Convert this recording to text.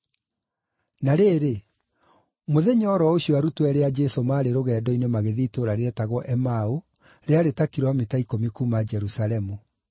Na rĩrĩ, mũthenya o ro ũcio arutwo eerĩ a Jesũ maarĩ rũgendo-inĩ magĩthiĩ itũũra rĩetagwo Emau, rĩarĩ ta kilomita ikũmi kuuma Jerusalemu.